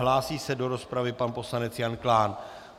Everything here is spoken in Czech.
Hlásí se do rozpravy pan poslanec Jan Klán.